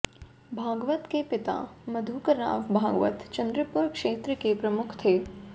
भागवत के पिता मधुकरराव भागवत चन्द्रपुर क्षेत्र के प्रमुख थे